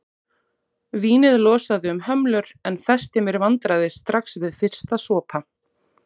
Vínið losaði um hömlur en festi mér vandræði strax við fyrsta sopa.